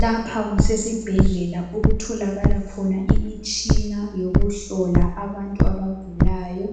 Lapha kusesibhedlela okutholakala khona imitshina yokuhlola abantu abagulayo